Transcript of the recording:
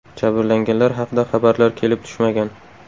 Jabrlanganlar haqida xabarlar kelib tushmagan.